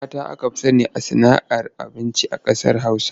Mata aka fi sani da sana'ar sayarda abinci a ƙasar Hausa.